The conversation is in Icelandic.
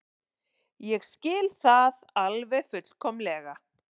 Ég skil það alveg fullkomlega.